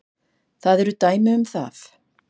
Það eru dæmi um það.